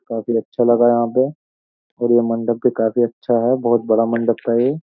काफी अच्छा लगा यहां पे और यह मंडप भी काफी अच्छा है बोहोत बड़ा मंडप है ये।